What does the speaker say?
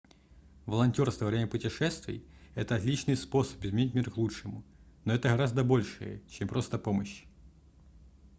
волонтёрство во время путешествий это отличный способ изменить мир к лучшему но это гораздо большее чем просто помощь